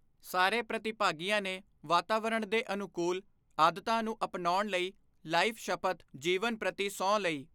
ਸਾਰੇ ਪ੍ਰਤੀਭਾਗੀਆਂ ਨੇ ਵਾਤਾਵਰਣ ਦੇ ਅਨੁਕੂਲ ਆਦਤਾਂ ਨੂੰ ਅਪਣਾਉਣ ਲਈ ਲਾਈਫ ਸ਼ਪਥ ਜੀਵਨ ਪ੍ਰਤੀ ਸਹੁੰ ਲਈ।